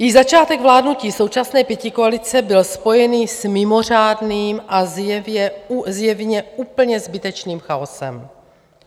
Již začátek vládnutí současné pětikoalice byl spojený s mimořádným a zjevně úplně zbytečným chaosem.